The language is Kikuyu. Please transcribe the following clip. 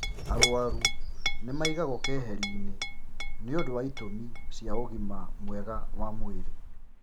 Arwaru nĩ maigagwo keheri-inĩ nĩũndũ wa itĩmi cia ũgima mwega wa mwĩrĩ